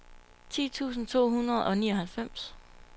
ti tusind to hundrede og nioghalvfems